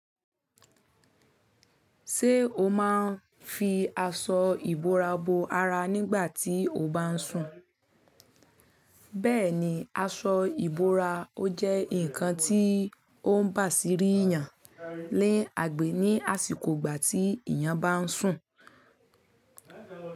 Ṣé o máa ń fi aṣọ ìbora bora nígbà tí o báà ń sùn? Bẹ́ẹ̀ni, aṣọ ìbora ó jẹ́ ǹkan tí ó ń bà sí rí yàn ni agbè ní àsìkò ìgbà tí èèyàn bá ń sùn.